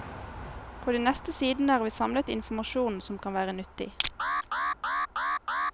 På de neste sidene har vi samlet informasjon som kan være nyttig.